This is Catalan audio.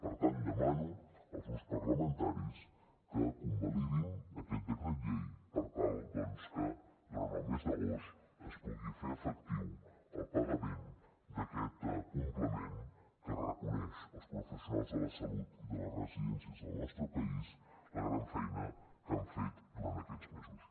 per tant demano als grups parlamentaris que convalidin aquest decret llei per tal doncs que durant el mes d’agost es pugui fer efectiu el pagament d’aquest complement que reconeix els professionals de la salut i de les residències del nostre país la gran feina que han fet durant aquests mesos